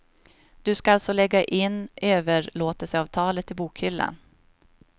Du ska alltså lägga in överlåtelseavtalet i bokhyllan.